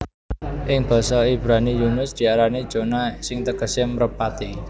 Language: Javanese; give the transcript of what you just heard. Ing basa Ibrani Yunus diarani Jonah sing tegesé mrepati